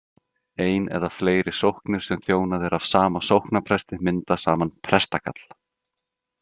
Ein eða fleiri sóknir sem þjónað er af sama sóknarpresti mynda saman prestakall.